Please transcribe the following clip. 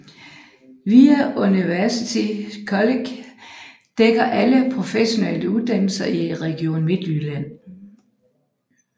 VIA University College dækker alle professionsuddannelserne i Region Midtjylland